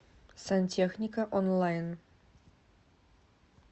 сантехника онлайн